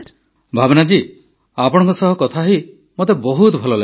ଭାବନା ଜୀ ଆପଣଙ୍କ ସହ କଥାହୋଇ ମୋତେ ବହୁତ ଭଲ ଲାଗିଲା